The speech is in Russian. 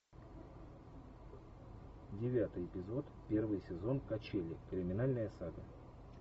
девятый эпизод первый сезон качели криминальная сага